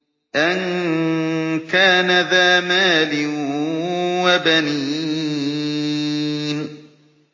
أَن كَانَ ذَا مَالٍ وَبَنِينَ